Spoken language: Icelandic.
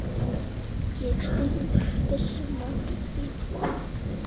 Ég stíg byssuna í botn.